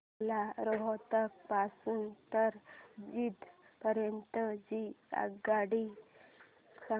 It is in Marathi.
मला रोहतक पासून तर जिंद पर्यंत ची आगगाडी सांगा